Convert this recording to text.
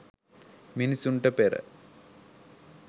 මිනිසුන්ට පෙර